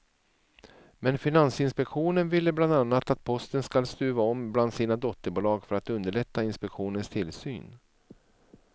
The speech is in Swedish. Men finansinspektionen ville bland annat att posten skall stuva om bland sina dotterbolag för att underlätta inspektionens tillsyn.